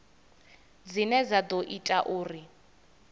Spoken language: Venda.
dzine dza ḓo ita uri